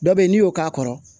Dɔ bɛ ye n'i y'o k'a kɔrɔ